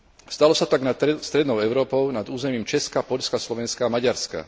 Stalo sa tak nad strednou Európou, nad územím Česka, Poľska, Slovenska a Maďarska.